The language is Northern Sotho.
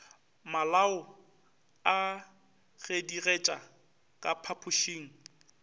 malao a gedigetša ka phapošeng